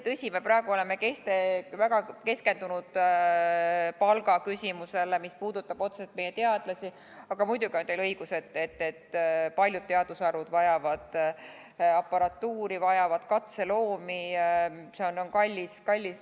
Tõsi, me oleme praegu väga keskendunud palgaküsimusele, mis puudutab otseselt meie teadlasi, aga muidugi on teil õigus, et paljud teadusharud vajavad ka aparatuuri, katseloomi jms.